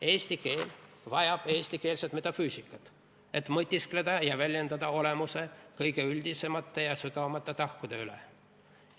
Eesti keel vajab eestikeelset metafüüsikat, et mõtiskleda olemuse kõige üldisemate ja sügavamate tahkude üle ja neid väljendada.